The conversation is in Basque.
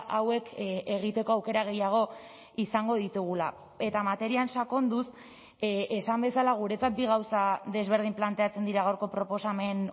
hauek egiteko aukera gehiago izango ditugula eta materian sakonduz esan bezala guretzat bi gauza desberdin planteatzen dira gaurko proposamen